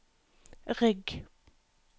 rygg